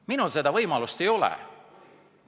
Minul seda võimalust ei ole.